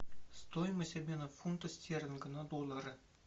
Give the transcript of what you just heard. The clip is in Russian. стоимость обмена фунта стерлинга на доллары